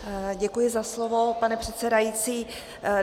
Děkuji za slovo, pane předsedající.